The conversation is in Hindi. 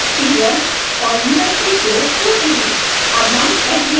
isp सीरियल और usb पोर्ट्स होते हैं